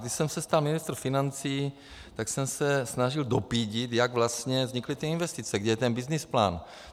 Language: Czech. Když jsem se stal ministrem financí, tak jsem se snažil dopídit, jak vlastně vznikly ty investice, kde je ten byznysplán.